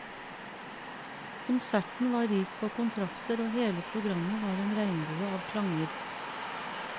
Konserten var rik på kontraster, og hele programmet var en regnbue av klanger.